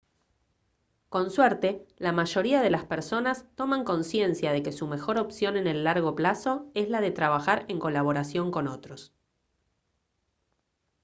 con suerte la mayoría de las personas toman consciencia de que su mejor opción en el largo plazo es la de trabajar en colaboración con otros